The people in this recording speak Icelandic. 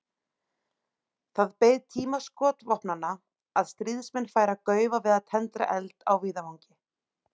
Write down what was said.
Það beið tíma skotvopnanna að stríðsmenn færu að gaufa við að tendra eld á víðavangi.